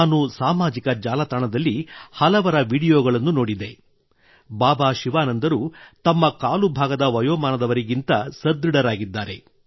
ನಾನು ಸಾಮಾಜಿಕ ಜಾಲತಾಣದಲ್ಲಿ ಹಲವರ ವಿಡಿಯೋಗಳನ್ನು ನೋಡಿದೆ ಬಾಬಾ ಶಿವಾನಂದರು ತಮ್ಮ ಕಾಲು ಭಾಗದ ವಯೋಮಾನದವರಿಗಿಂತ ಸುದೃಢರಾಗಿದ್ದಾರೆ